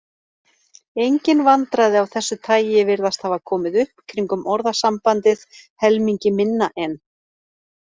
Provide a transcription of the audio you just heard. Engin vandræði af þessu tagi virðast hafa komið upp kringum orðasambandið helmingi minna en.